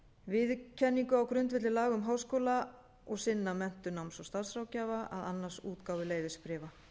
viðurkenningu á grundvelli laga um háskóla og sinna menntun náms og starfsráðgjafa að annast útgáfu leyfisbréfa